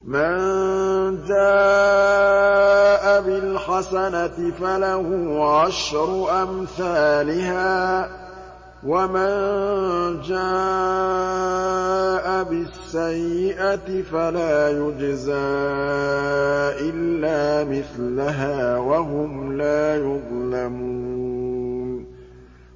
مَن جَاءَ بِالْحَسَنَةِ فَلَهُ عَشْرُ أَمْثَالِهَا ۖ وَمَن جَاءَ بِالسَّيِّئَةِ فَلَا يُجْزَىٰ إِلَّا مِثْلَهَا وَهُمْ لَا يُظْلَمُونَ